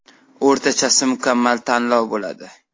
O‘rtachasi mukammal tanlov bo‘ladi.